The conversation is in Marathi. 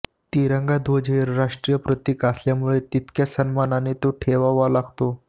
तिरंगा ध्वज हे राष्ट्रीय प्रतीक असल्यामुळे तितक्मयाच सन्मानाने तो ठेवावा लागतो